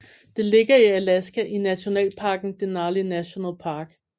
Det ligger i Alaska i nationalparken Denali National Park